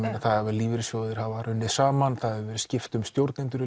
lífeyrissjóðir hafa runnið saman það hefur verið skipt um stjórnendur